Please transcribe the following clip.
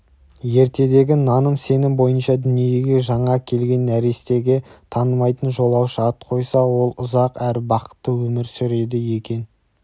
ертедегі наным-сенім бойынша дүниеге жаңа келген нәрестеге танымайтын жолаушы ат қойса ол ұзақ әрі бақытты өмір сүреді екен